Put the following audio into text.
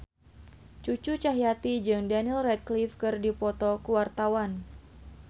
Cucu Cahyati jeung Daniel Radcliffe keur dipoto ku wartawan